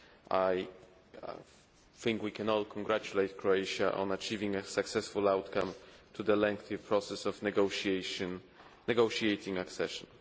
I think we can all congratulate Croatia on achieving a successful outcome to the lengthy process of negotiating accession.